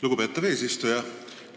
Lugupeetav eesistuja!